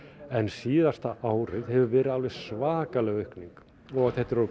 en síðasta árið hefur orðið svakaleg aukning og þetta er